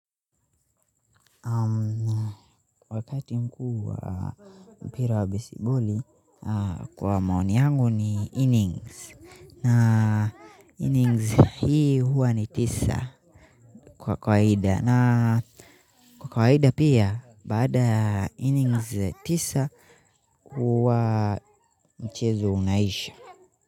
Wakati mkuu wa mpira wa besiboli kwa maoni yangu ni innings na innings hii huwa ni tisa kwa kawaida na kwa kawaida pia baada innings tisa huwa mchezo unaisha.